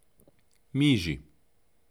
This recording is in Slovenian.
Miži.